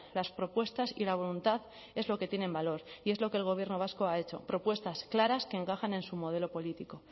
las propuestas y la voluntad es lo que tienen valor y es lo que el gobierno vasco ha hecho propuestas claras que encajan en su modelo político